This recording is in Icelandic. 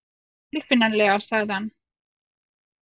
Ekki tilfinnanlega sagði hann.